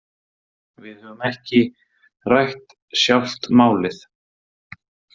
En við höfum ekki rætt sjálft málið.